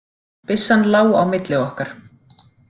Byssan lá á milli okkar.